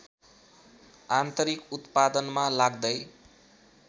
आन्तरिक उत्पादनमा लाग्दै